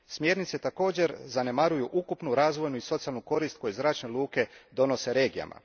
Smjernice također zanemaruju ukupnu razvojnu i socijalnu korist koju zračne luke donose regijama.